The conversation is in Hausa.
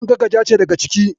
Kankaka ja ce daga ciki.